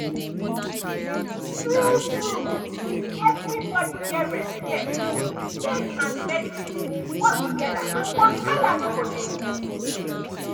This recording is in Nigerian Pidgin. true true if everybody get respect faith and medicine go work together and wahala no go dey.